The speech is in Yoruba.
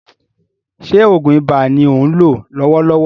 Ṣé oògùn ibà ni ò ń lò lọ́wọ́lọ́wọ́?